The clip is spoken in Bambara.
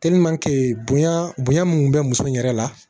bonya bonya mun bɛ muso in yɛrɛ la